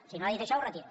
si no ha dit això ho retiro